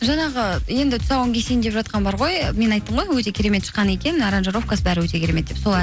жаңағы енді тұсауын кесейін деп жатқан бар ғой мен айттым ғой өте керемет шыққан екен аранжировкасы бәрі өте керемет деп сол